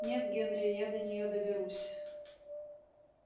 нет генри я до нее доберусь